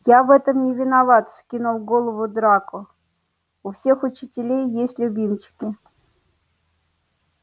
я в этом не виноват вскинул голову драко у всех учителей есть любимчики